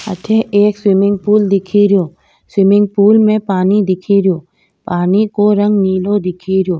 अठे एक swimming pool दिखेरो पूल में पानी दिखेरो पानी को रंग नीलो दिखेरो।